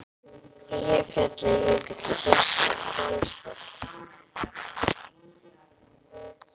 Eyjafjallajökull sést frá Hvolsvelli.